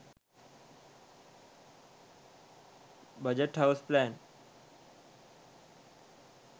budget house plan